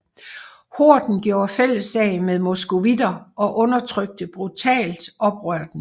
Horden gjorde fælles sag med moskovitter og undertrykte brutalt oprøret